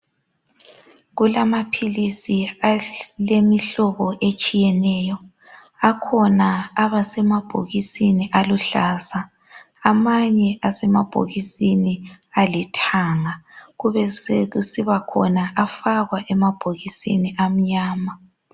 Kulamaphilisi ayimihlobohlobo etshiyatshiyeneyo, kulasemabhokisi amhlophe, kulasemabhokisini alithanga besekuba lafakea emabhokisini amnyama.